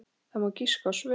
Það má giska á svör.